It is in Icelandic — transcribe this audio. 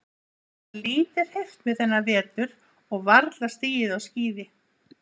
Ég hafði lítið hreyft mig þennan vetur og varla stigið á skíði.